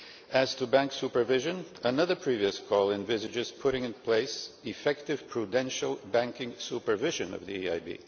As to Bank supervision, another previous call envisages putting in place effective prudential banking supervision of the EIB.